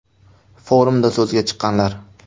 Forumda so‘zga chiqqanlar.